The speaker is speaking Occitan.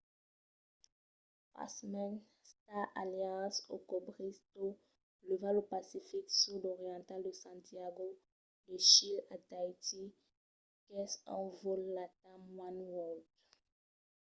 pasmens star alliance o cobrís tot levat lo pacific sud oriental de santiago de chile a tahiti qu'es un vòl latam oneworld